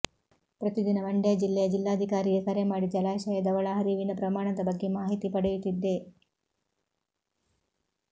ಪ್ರತಿ ದಿನ ಮಂಡ್ಯ ಜಿಲ್ಲೆಯ ಜಿಲ್ಲಾಧಿಕಾರಿಗೆ ಕರೆಮಾಡಿ ಜಲಾಶಯದ ಒಳಹರಿವಿನ ಪ್ರಮಾಣದ ಬಗ್ಗೆ ಮಾಹಿತಿ ಪಡೆಯುತ್ತಿದ್ದೆ